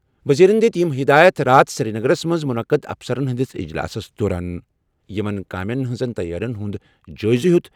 وزیرَن دِژ یِم ہِدایَت راتھ سری نگرَس منٛز مُنعقد افسرَن ہِنٛدِس اجلاسَس دوران یِمَن کامین ہِنٛزِ تَیٲرِین ہُنٛد جٲیزٕ نِ